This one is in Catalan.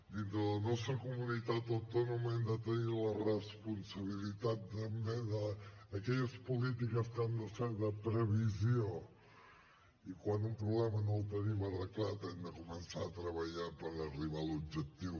dintre la nostra comunitat autònoma hem de tenir la responsabilitat també d’aquelles polítiques que han de ser de previsió i quan un problema no el tenim arreglat hem de començar a treballar per arribar a l’objectiu